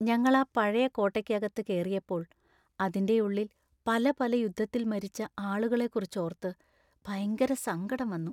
ഞങ്ങളാ പഴയ കോട്ടയ്ക്കകത്ത് കേറിയപ്പോൾ അതിന്‍റെയുള്ളിൽ പല പല യുദ്ധത്തിൽ മരിച്ച ആളുകളെക്കുറിച്ചോർത്ത് ഭയങ്കര സങ്കടം വന്നു.